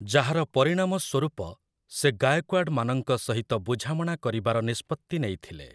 ଯାହାର ପରିଣାମ ସ୍ୱରୂପ ସେ ଗାଏକ୍ୱାଡ଼ମାନଙ୍କ ସହିତ ବୁଝାମଣା କରିବାର ନିଷ୍ପତ୍ତି ନେଇଥିଲେ ।